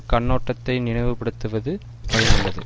கண்ணோட்டத்தை நினைவுபடுத்துவது பயனுள்ளது